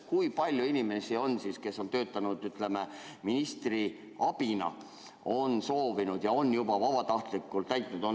Kui palju inimesi, kes on töötanud ministri abina, on soovinud ja selle juba ka vabatahtlikult täitnud?